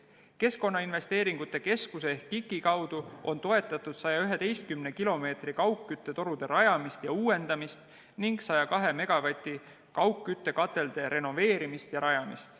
KIK-i ehk Keskkonnainvesteeringute Keskuse kaudu on toetatud 111 kilomeetri kaugküttetorude rajamist ja uuendamist ning 102 megavati kaugküttekatelde renoveerimist ja rajamist.